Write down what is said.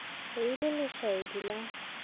be e le lešaedi la